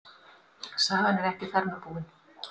Sagan er ekki þar með búin.